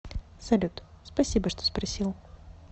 салют спасибо что спросил